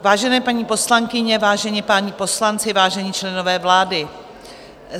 Vážené paní poslankyně, vážení páni poslanci, vážení členové vlády.